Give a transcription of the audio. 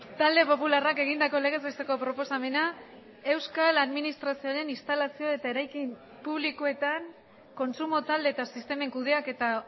talde popularrak egindako legez besteko proposamena euskal administrazioaren instalazio eta eraikin publikoetan kontsumo talde eta sistemen kudeaketa